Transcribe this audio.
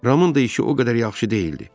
Ramın da işi o qədər yaxşı deyildi.